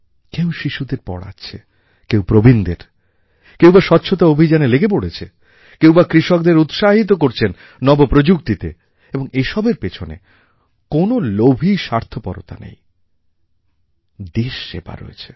কেউ শিশুদের পড়াচ্ছে কেউ প্রবীণদের কেউ বা স্বচ্ছতা অভিযানে লেগে পড়েছে কেউ বা কৃষকদের উৎসাহিত করছেন নব প্রযুক্তিতে এবং এসবের পেছনে কোনো লোভী স্বার্থপরতা নেই দেশ সেবা রয়েছে